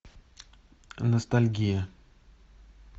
ностальгия